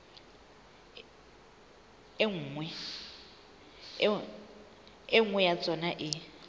e nngwe ya tsona e